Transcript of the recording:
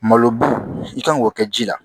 Malo i kan k'o kɛ ji la